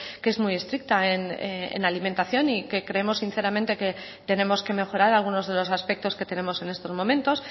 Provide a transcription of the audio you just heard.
que es muy estricta en alimentación y que creemos sinceramente que tenemos que mejorar algunos de los aspectos que tenemos en estos momentos